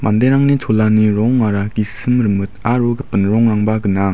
manderangni cholani rongara gisim rimit aro gipin rongrangba gnang.